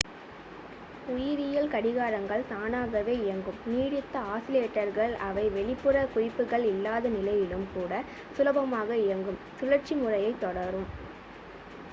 உயிரியல் கடிகாரங்கள் தானாகவே இயங்கும் நீடித்த ஆஸிலேட்டர்கள் அவை வெளிப்புற குறிப்புகள் இல்லாத நிலையிலும் கூட சுலபமாக-இயங்கும் சுழற்சி முறையைத் தொடரும்